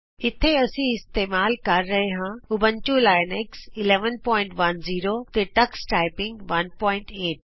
ਇਥੇ ਅਸੀਂ ਇਸਤੇਮਾਲ ਕਰ ਰਹੇ ਹਾਂ ਊਬੰਤੂ ਲੀਨਕਸ 1110 ਤੇ ਟਕਸ ਟਾਈਪਿੰਗ 18